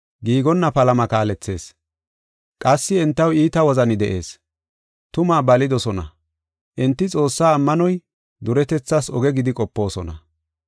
giigonna palama kaalethees. Qassi entaw iita wozani de7ees; tumaa balidosona; enti Xoossaa ammanoy duretethas oge gidi qopoosona.